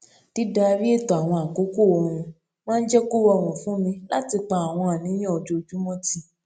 dídarí ètò àwọn àkókò oorun máa ń jé kó rọrùn fún mi láti pa àwọn àníyàn ojoojúmó tì